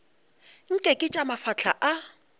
nke ke tša mafahla a